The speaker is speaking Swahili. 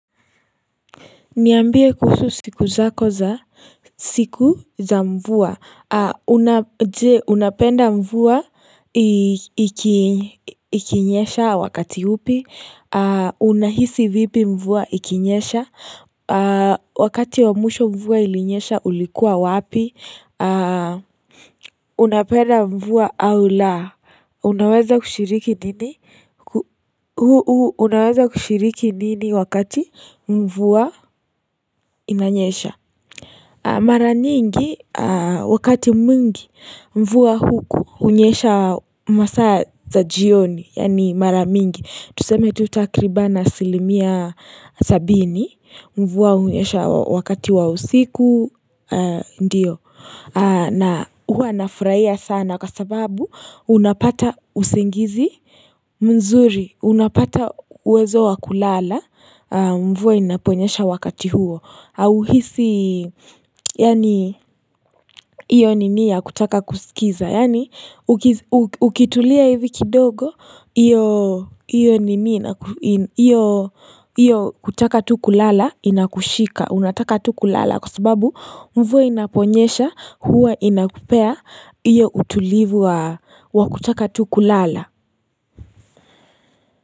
Niambie kuhusu siku za mvua. Unapenda mvua ikinyesha wakati upi. Unahisi vipi mvua ikinyesha. Wakati wamwisho mvua ilinyesha ulikuwa wapi. Unapenda mvua au la Unaweza kushiriki nini Unaweza kushiriki nini wakati mvua inanyesha Mara nyingi wakati mwingi mvua huku hUnyesha masaa ya za jioni Yani mara mingi Tuseme tu takriban asilimia sabini Mvua hunyesha wakati wa usiku Ndiyo na huwa nafurahia sana kwa sababu unapata usingizi mzuri unapata uwezo wa kulala mvua inaponyesha wakati huo hauhisi yani hiyo nini ya kutaka kusikiza yani ukitulia hivi kidogo iyo kutaka tuku lala inakushika unataka tuku lala kwa sababu mvua inaponyesha huwa inakupea hiyo utulivu wa kutaka tu kulala.